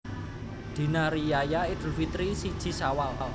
Dina Riyaya Idul Fitri siji Syawal